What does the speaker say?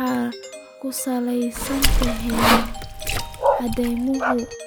Waxay ku salaysan yihiin caddaymo